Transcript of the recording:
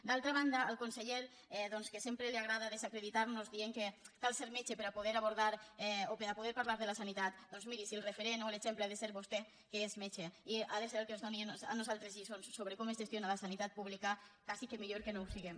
d’altra banda al conseller doncs que sempre li agra·da desacreditar·nos dient que cal ser metge per a po·der abordar o per a poder parlar de la sanitat doncs miri si el referent o l’exemple ha de ser vostè que és metge i ha de ser el que ens doni a nosaltres lliçons sobre com es gestiona la sanitat pública quasi que mi·llor que no ho siguem